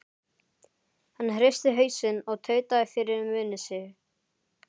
Hann hristi hausinn og tautaði fyrir munni sér